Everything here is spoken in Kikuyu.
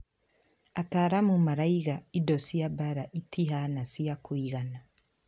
Ataramu marauga indo cia mbara itĩhana cia kũigana